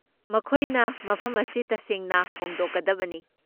ꯃꯈꯣꯏꯅ ꯃꯐꯝ ꯑꯁꯤ ꯇꯁꯦꯡꯅ ꯍꯣꯡꯗꯣꯛꯀꯗꯕꯅꯤ ꯫